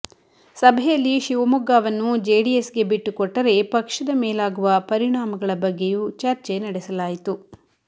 ಸಭೆಯಲ್ಲಿ ಶಿವಮೊಗ್ಗವನ್ನು ಜೆಡಿಎಸ್ಗೆ ಬಿಟ್ಟುಕೊಟ್ಟರೆ ಪಕ್ಷದ ಮೇಲಾಗುವ ಪರಿಣಾಮಗಳ ಬಗ್ಗೆಯೂ ಚರ್ಚೆ ನಡೆಸಲಾಯಿತು